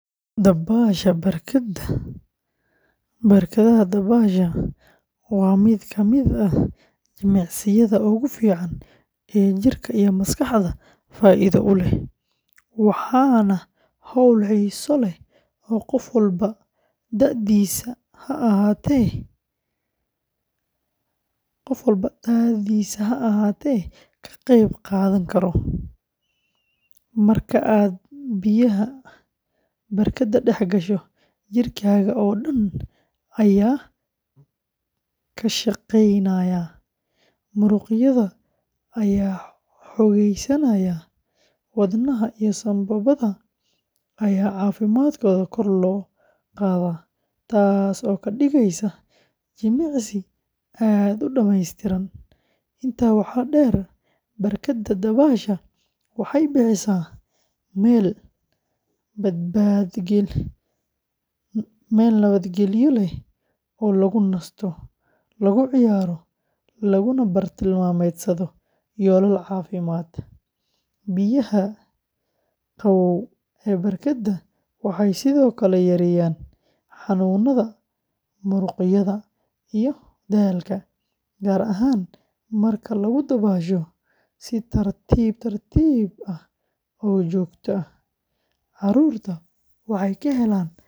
Dabbaasha barkadda dabaasha waa mid ka mid ah jimicsiyada ugu fiican ee jirka iyo maskaxdaba faa’iido u leh, waana hawl xiiso leh oo qof walba da’diisa ha ahaatee ka qayb qaadan karo. Marka aad biyaha barkadda dhex gasho, jirkaaga oo dhan ayaa ka shaqeynaya; muruqyada ayaa xoogaysanaya, wadnaha iyo sambabada ayaa caafimaadkooda kor loo qaadaa, taas oo ka dhigaysa jimicsi aad u dhammeystiran. Intaa waxaa dheer, barkadda dabaasha waxay bixisaa meel nabadgelyo leh oo lagu nasto, lagu ciyaaro, laguna bartilmaameedsado yoolal caafimaad. Biyaha qabow ee barkadda waxay sidoo kale yareeyaan xanuunnada muruqyada iyo daalka, gaar ahaan marka lagu dabaasho si tartiib tartiib ah oo joogto ah. Caruurta waxay ka helaan barashada dabaasha farxad iyo xirfado cusub.